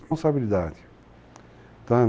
Responsabilidade, tá?